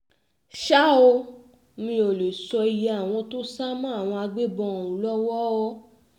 ṣá ò mì ó lè sọ iye àwọn tó sá mọ́ àwọn agbébọn ọ̀hún lọ́wọ́